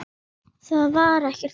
Það var ekkert þannig.